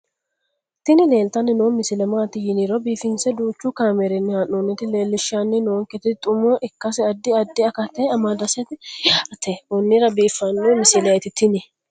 tini leeltanni noo misile maaati yiniro biifinse danchu kaamerinni haa'noonnita leellishshanni nonketi xuma ikkase addi addi akata amadaseeti yaate konnira biiffanno misileeti tini